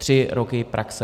Tři roky praxe.